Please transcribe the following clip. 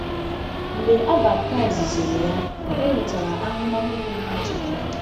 Mgbe e baptiziri ya, o nwetara ahụmahụ pụrụ iche.